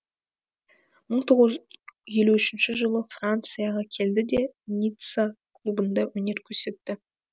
мың тоғыз жүз елу үшінші жылы францияға келді де ницца клубында өнер көрсетті